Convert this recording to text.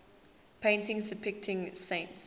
paintings depicting saints